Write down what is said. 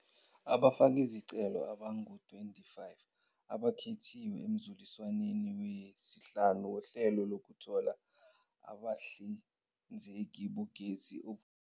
Abafakizicelo abangama-25 abakhethiwe emzuliswa neni wesihlanu woHlelo Lokuthola Abahlinzeki Bogesi Ovuselelekayo